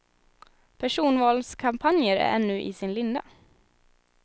Personvalskampanjer är ännu i sin linda.